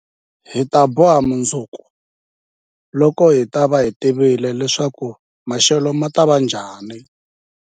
Hi ta boha mundzuku, loko hi ta va hi tivile leswaku maxelo ma ta va njhani?